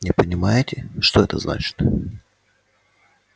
не понимаете что это значит